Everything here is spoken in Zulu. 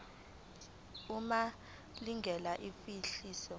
uma lingekho ihhovisi